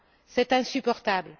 C'est insupportable.